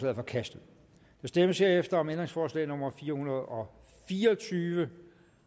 er forkastet der stemmes herefter om ændringsforslag nummer fire hundrede og fire og tyve